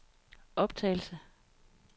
optagelse